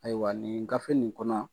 Ayiwa nin gafe nin kɔnɔ